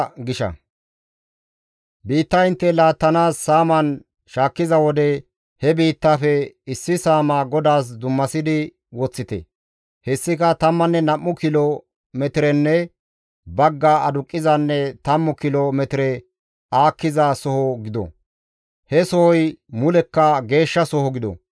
« ‹Biitta intte laattanaas saaman shaakkiza wode, he biittafe issi saamaa GODAAS dummasidi woththite. Hessika tammanne nam7u kilo metirenne bagga aduqqizanne tammu kilo metire aakkiza soho gido. He sohoy mulekka geeshshasoho gido.